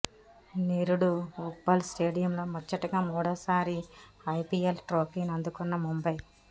నిరుడు ఉప్పల్ స్టేడియంలో ముచ్చటగా మూడోసారి ఐపీఎల్ ట్రోఫీని అందుకున్న ముంబై